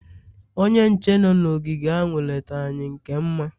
onye nche nọ n'ogige ahụ lete anyị nke mma